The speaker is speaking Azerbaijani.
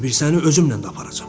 bir səni özümlə də aparacam.